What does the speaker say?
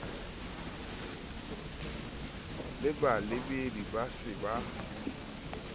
le balebedi ba se ba